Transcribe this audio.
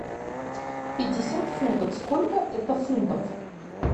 пятьдесят фунтов сколько это фунтов